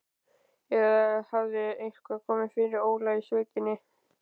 Eða hafði eitthvað komið fyrir Óla í sveitinni?